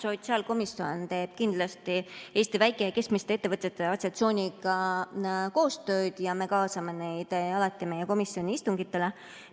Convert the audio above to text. Sotsiaalkomisjon teeb kindlasti Eesti Väike‑ ja Keskmiste Ettevõtjate Assotsiatsiooniga koostööd ja me kaasame neid alati meie komisjoni istungitele.